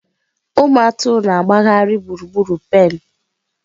Ụmụ atụrụ na-agbagharị gburugburu pen.